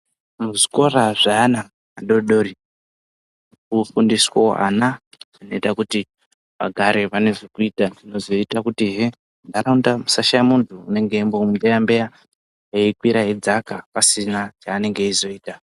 Muzvikora zveana adodori kunofundiswavo ana anoita kuti vagare vane zvekuita. Zvinozoita kutihe ntaraunda dzisashaye muntu anenge eimbo beya-beya eikwira eidzaka pasina cheinonga eizoita.